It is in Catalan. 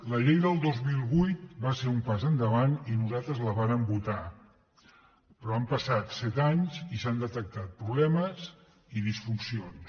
la llei del dos mil vuit va ser un pas endavant i nosaltres la vàrem votar però han passat set anys i s’hi han detectat problemes i disfuncions